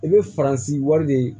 I bɛ faransi wali de